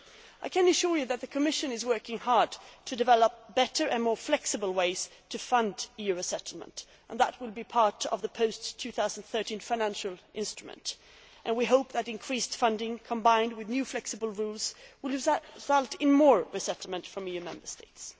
I can assure you that the Commission is working hard to develop better and more flexible ways to fund EU resettlement, and that will be part of the post 2013 financial instrument. We hope that increased funding, combined with new flexible rules, will result in more resettlement from EU Member States.